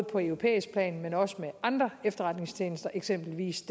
på europæisk plan men også med andre efterretningstjenester eksempelvis